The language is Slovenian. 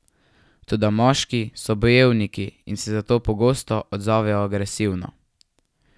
Toda moški so bojevniki in se zato pogosto odzovejo agresivno.